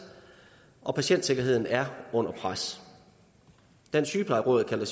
og patientsikkerheden er under pres dansk sygeplejeråd kalder